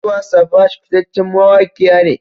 Tiwa Savage fitaccen mawaki ne.